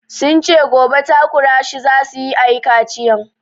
Sun ce gobe takura shi za su yi a yi kaciyan.